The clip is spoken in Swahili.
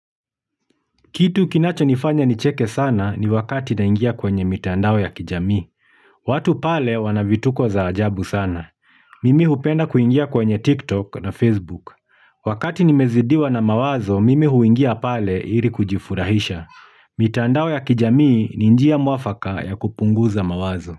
Kitu kinachonifanya nicheke sana, ni wakati naingia kwenye mitandao ya kijamii. Watu pale, wana vituko za ajabu sana. Mimi hupenda kuingia kwenye TikTok na Facebook. Wakati nimezidiwa na mawazo, mimi huingia pale ili kujifurahisha. Mitandao ya kijamii ni njia mwafaka ya kupunguza mawazo.